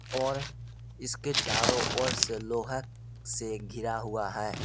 और इसके चारो ओर से लोहा से घिरा हुआ है।